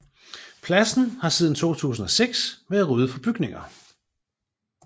Pladsen har siden 2006 været ryddet for bygninger